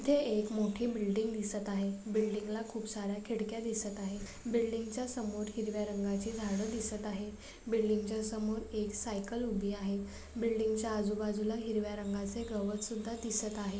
इथे एक मोठी बिल्डी‌‌‌‌ग दिसत आहे. बिल्डी‌‌‌‌गला खुप सा-या खिड्क्या दिसत आहेत. बिल्डी‌‌‌‌गच्या समोर हिरव्या रंगाची झाड दिसत आहेत. बिल्डी‌‌‌‌गच्या समोर एक सायकल उभी आहे. बिल्डी‌‌‌‌गच्या आजूबाजूला हिरव्या रंगाचे गवत सुद्दा दिसत आहे.